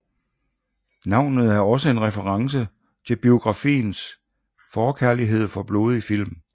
Navnet et også en reference til biografens forkærlighed for blodige film